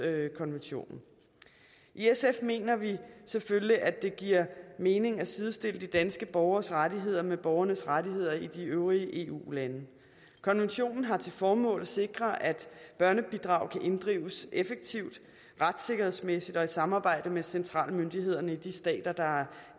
konventionen i sf mener vi selvfølgelig at det giver mening at sidestille de danske borgeres rettigheder med borgernes rettigheder i de øvrige eu lande konventionen har til formål at sikre at børnebidrag kan inddrives effektivt retssikkerhedsmæssigt og i samarbejde med centrale myndigheder i de stater der har